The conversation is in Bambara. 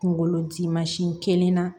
Kunkolo dimansi kelen na